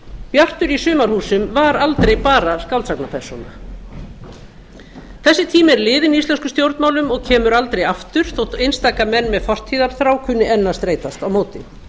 bjartur í sumarhúsum var aldrei bara skáldsagnapersóna þessi tími er liðinn í íslenskum stjórnmálum og kemur aldrei aftur þótt einstaka menn með fortíðarþrá kunni enn að streitast á móti